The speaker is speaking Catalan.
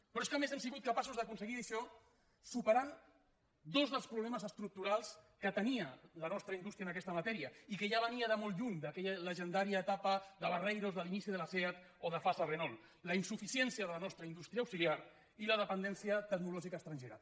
però és que a més hem sigut capaços d’aconseguir això superant dos dels problemes estructurals que tenia la nostra indústria en aquesta matèria i que ja venia de molt lluny d’aquella llegendària etapa de barreiros de l’inici de la seat o de fasa renault la insuficiència de la nostra industria auxiliar i la dependència tecnològica estrangera